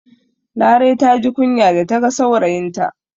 Larai ta ji kunya da ta ga saurayinta